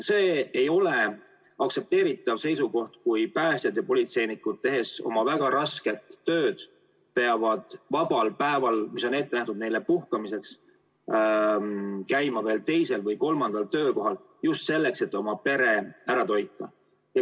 See ei ole aktsepteeritav seisukoht, et päästjad ja politseinikud, tehes väga rasket tööd, peavad vabal päeval, mis on ette nähtud puhkamiseks, käima veel teisel või kolmandal töökohal, just selleks, et oma pere ära toita.